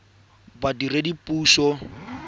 badiredipuso